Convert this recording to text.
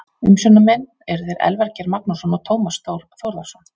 Umsjónarmenn eru þeir Elvar Geir Magnússon og Tómas Þór Þórðarson.